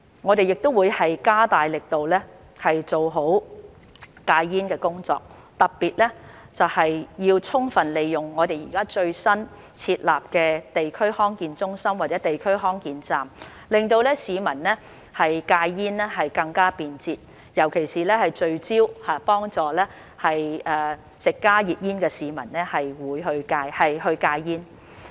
我們亦會加大力度做好戒煙工作，特別是要充分利用我們現在最新設立的地區康健中心或地區康健站，令市民戒煙更加便捷，尤其聚焦幫助吸食加熱煙的市民戒煙。